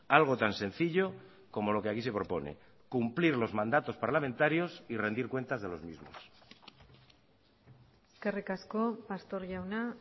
algo tan sencillo como lo que aquí se propone cumplir los mandatos parlamentarios y rendir cuentas de los mismos eskerrik asko pastor jauna